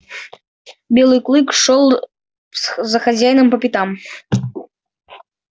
белый клык шёл за хозяином по пятам